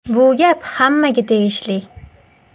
Bu gap hammaga tegishli.